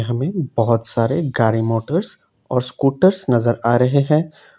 हमें बहोत सारे गाड़ी मोटर्स और स्कूटरस नजर आ रहे हैं।